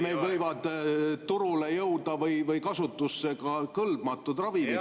Meil võivad turule või kasutusse jõuda kõlbmatud ravimid …